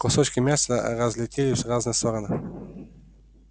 кусочки мяса разлетелись в разные стороны